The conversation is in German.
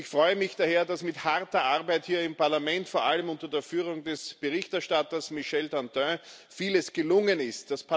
Ich freue mich daher, dass mit harter Arbeit hier im Parlament, vor allem unter der Führung des Berichterstatters Michel Dantin, vieles gelungen ist.